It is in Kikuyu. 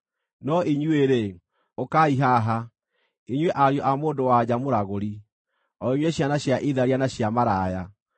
“No inyuĩ-rĩ, ũkaai haha, inyuĩ ariũ a mũndũ-wa-nja mũragũri, o inyuĩ ciana cia itharia na cia maraya!